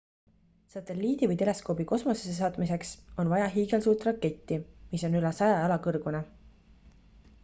satelliidi või teleskoobi kosmosesse saatmiseks on vaja hiigelsuurt raketti mis on üle 100 jala kõrgune